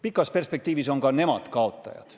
Pikas perspektiivis on ka nemad kaotajad.